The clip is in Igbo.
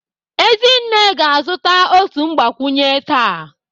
Ezinne ga-azụta otu mgbakwunye taa